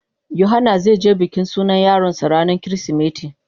Yohana zai yo bikin sunan yaron sa ranan kirisimeti.